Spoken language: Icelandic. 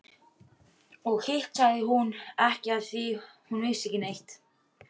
Og hitt sagði hún ekki afþvíað hún vissi ekki neitt.